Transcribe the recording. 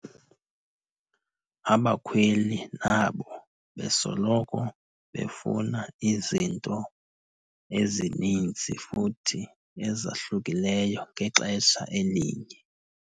Abakhweli nabo besoloko befuna izinto ezininzi futhi ezahlukileyo ngexesha elinye.